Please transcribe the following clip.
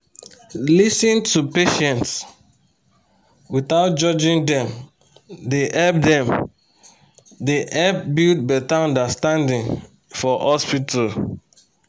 to lis ten to patients without judging dem dey help dem dey help build better understanding for hospital.